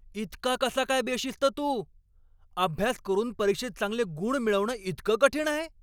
इतका कसा काय बेशिस्त तू? अभ्यास करून परीक्षेत चांगले गुण मिळवणं इतकं कठीण आहे?